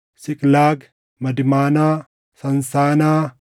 Siiqlaag, Madmaanaa, Saansaanaa,